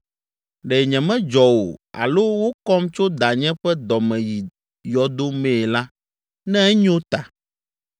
Ɖe nyemedzɔ o alo wokɔm tso danye ƒe dɔ me yi yɔdo mee la, ne enyo ta!